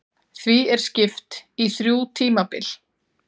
því er skipt í þrjú tímabil